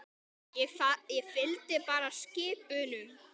Ég fylgdi bara skip unum.